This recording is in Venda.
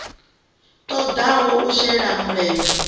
ṱo ḓaho u shela mulenzhe